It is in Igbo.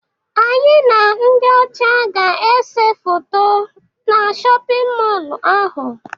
Anyị na ndị ọcha ga-ese foto na shọpịn mọlụ ahụ.